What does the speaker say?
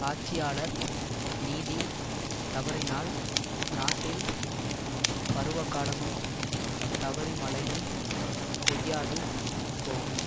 ஆட்சியாளர் நீதி தவறினால் நாட்டில் பருவகாலமும் தவறி மழையும் பெய்யாது போகும்